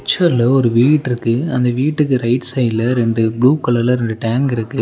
பிச்சர்ல ஒரு வீட்ருக்கு அந்த வீட்டுக்கு ரைட் சைட்ல ரெண்டு ப்ளூ கலர்ல ரெண்டு டேங்க் இருக்கு.